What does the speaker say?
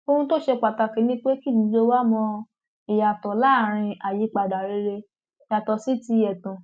ohun tó ṣe pàtàkì ni pé kí gbogbo wa mọ ìyàtọ láàrin àyípadà rere yàtọ sí ti ẹtàn